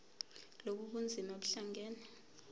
lobu bunzima buhlangane